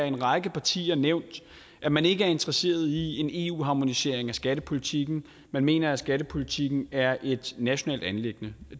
en række partier nævnt at man ikke er interesseret i en eu harmonisering af skattepolitikken man mener at skattepolitikken er et nationalt anliggende